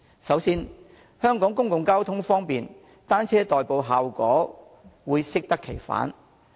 首先，香港公共交通方便，以單車代步的效果會適得其反。